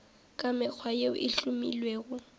ka mekgwa yeo e hlomilwego